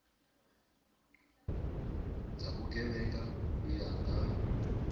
dza vhugevhenga u ya nga